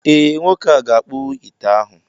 ee, Nwoke a ga-akpụwu ite ahụ